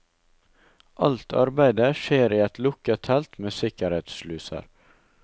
Alt arbeidet skjer i et lukket telt med sikkerhetssluser.